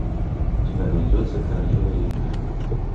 у тебя найдется королева ринга